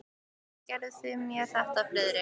Af hverju gerðuð þið mér þetta, Friðrik?